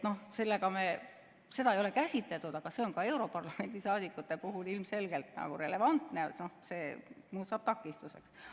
Seda ei ole käsitletud, aga see on ka europarlamendi liikmete puhul ilmselgelt relevantne, see saab takistuseks.